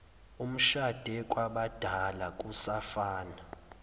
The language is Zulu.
umshade kwabadala usafana